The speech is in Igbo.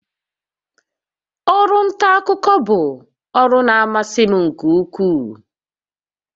Ọrụ nta akụkọ bụ ọrụ na-amasị m nke ukwuu